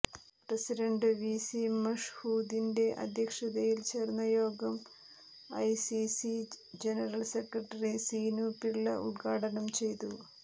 president VC മഷ്ഹൂദിന്റെ അധ്യക്ഷതയിൽ ചേർന്ന യോഗം I C C general secretary Seenu Pillai ഉത്ഘാടനം ചെയ്തു